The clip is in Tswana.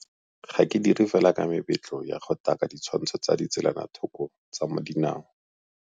Ga ke dire fela ka mebetlo ya go taka ditshwantsho tsa ditselanathoko tsa dinao.